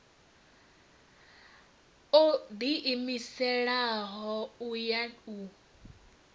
o ḓiimiselaho u ya u